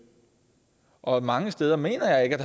og mange steder mener jeg ikke